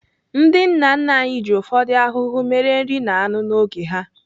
Ndị nna nna anyị ji ufodu ahuhu mere nri na anụ n'oge ha.